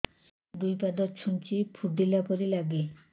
ଦୁଇ ପାଦ ଛୁଞ୍ଚି ଫୁଡିଲା ପରି ଲାଗେ